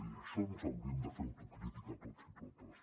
i en això ens hauríem de fer autocrítica tots i totes